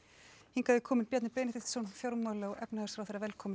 hingað er kominn Bjarni Benediktsson fjármála og efnahagsráðherra velkominn